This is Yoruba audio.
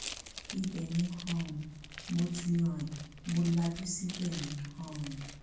ibẹ ni um mo ti rìn mọ lajú síbẹ ni um